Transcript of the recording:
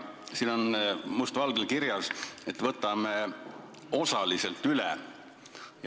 Siin on must valgel kirjas, et võtame selle osaliselt üle.